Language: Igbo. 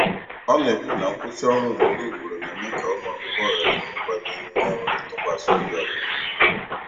Ọ na-ekwu na nkwụsị ọrụ ugboro ugboro na-eme ka ụmụakwụkwọ ghara inwe mkpali na enweghị ntụkwasị obi n'ọdịnihu ha.